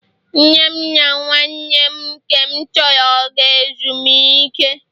nne m na nwanne m nke m tọrọ gara ezumike